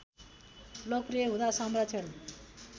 लोकप्रि‍‍य हुँदा संरक्षण